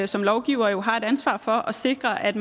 som lovgivere her har et ansvar for at sikre at